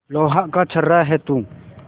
लोहा का छर्रा है तू